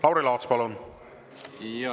Lauri Laats, palun!